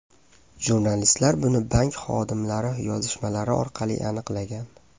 Jurnalistlar buni bank xodimlari yozishmalari orqali aniqlagan.